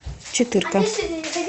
четырка